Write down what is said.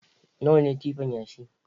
Nawa ne tipan yashi?